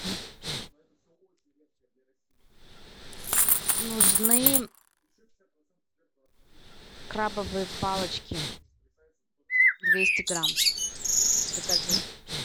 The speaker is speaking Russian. нужны крабовые палочки двести грамм закажи